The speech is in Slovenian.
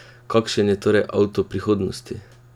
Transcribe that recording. Kakšen je torej avto prihodnosti?